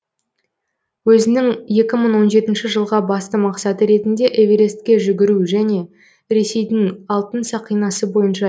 өзінің екі мың он жетінші жылға басты мақсаты ретінде эверестке жүгіру және ресейдің алтын сақинасы бойынша